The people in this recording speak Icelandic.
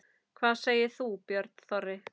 Hvað segir þú, Björn Þorri?